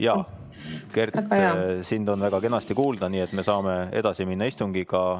Jaa, Kert, sind on väga kenasti kuulda, nii et me saame istungiga edasi minna.